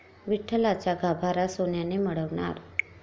विठ्ठलाचा गाभारा सोन्याने मढवणार